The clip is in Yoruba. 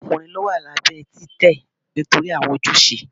Awọn ọkunrin lọ wa labẹ titẹ nitori awọn ojuse